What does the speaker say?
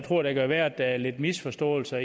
tror det kan være der er lidt misforståelser